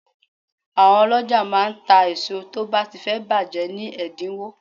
Àwọn ọlọ́jà máa ń ta èso tó bá ti fẹ́ bàjẹ́ ni ẹ̀dínwó.